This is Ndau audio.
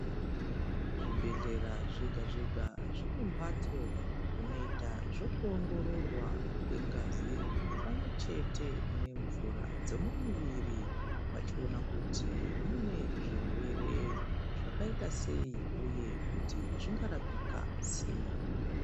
Zvibhehlera zvega zvega zvinembatso dzinoitwa zvekuoongororwa kwengazi pamwe chete nemvura dzemumuviri vachiona kuti munezvirwere zvakaita sei uye kuti zvingarapika sei